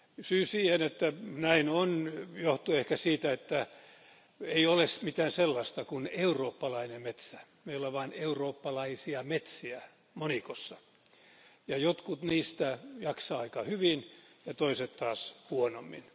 Syy siihen, että näin on, johtuu ehkä siitä, että ei ole mitään sellaista kuin eurooppalainen metsä, meillä on vain eurooppalaisia metsiä monikossa ja jotkut niistä jaksaa aika hyvin ja toiset taas huonommin.